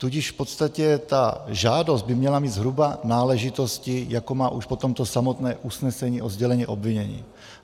Tudíž v podstatě ta žádost by měla mít zhruba náležitosti, jako má už potom to samotné usnesení o sdělení obvinění.